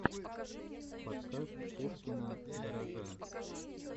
подкаст пушкина гаража